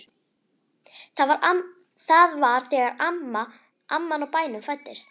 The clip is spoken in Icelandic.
Það var þegar amman á bænum fæddist.